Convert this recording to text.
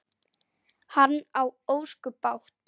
Hann á ósköp bágt.